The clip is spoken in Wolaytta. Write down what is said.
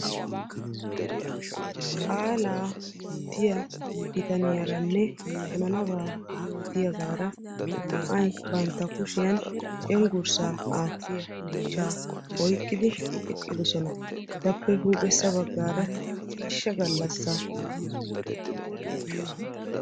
Qaala yootiya biitaniyarane hananaba yootiyagara naa'ay bantta kushiyan cenggurssa atiya miishsha oyqqidi eqqidosona. Etape huuphphesa baggara ciishsha gallasaa giya xuufeka de'ees.